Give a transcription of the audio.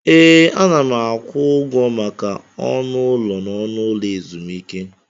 Ee, ana m akwụ ụgwọ maka ọnụ ụlọ n'ụlọ ezumike.